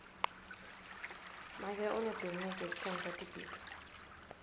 make unebhizinisi yekutsengisa tibhidvo